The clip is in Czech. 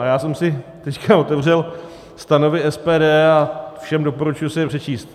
A já jsem si teď otevřel stanovy SPD a všem doporučuji si je přečíst.